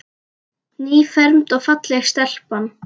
Nýfermd og falleg stelpan okkar.